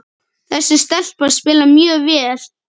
Þessi stelpa spilar mjög vel.